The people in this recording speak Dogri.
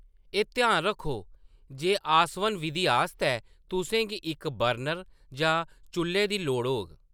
एह्‌‌ ध्यान रक्खो जे आसवन विधी आस्तै तुसें गी इक बर्नर जां चुʼल्ले दी लोड़ होग।